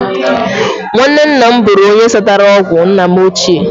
Nwanne nna m bụrụ onye satara ọgwụ nna m ochie